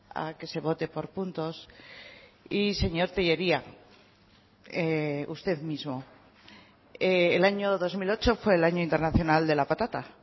a que se vote por puntos y señor tellería usted mismo el año dos mil ocho fue el año internacional de la patata